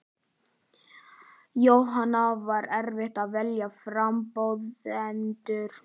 Jóhanna: Var erfitt að velja frambjóðendur?